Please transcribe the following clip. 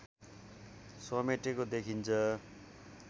समेटेको देखिन्छ